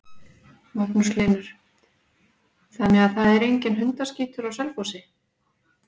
Magnús Hlynur: Þannig að það er enginn hundaskítur á Selfossi?